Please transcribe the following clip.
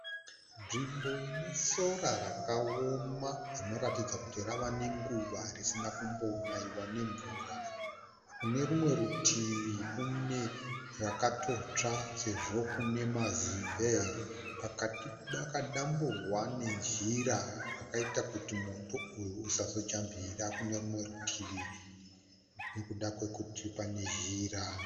Nzvimbo ine sora rakaoma rinoratidza kuti rava nenguva risina kumbonayiwa nemvura. Kune rumwe rutivi kune rakatotsva sezvo kune mazimbe. Pakati pakadamburwa nezhira yakaita kuti moto uyu usazojambira kune rumwe rutivi nokuda kwokuti pane zhira.